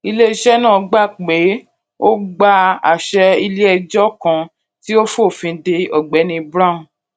ile-iṣẹ náà gbà pé ó gba àṣẹ ilé ẹjọ kan tí ó fòfin de ògbéni brown